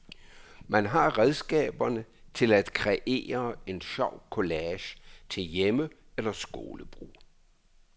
Man har redskaberne til at kreere en sjov collage til hjemme- eller skolebrug.